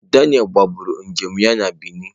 Daniel kagburu njem ya na Benin.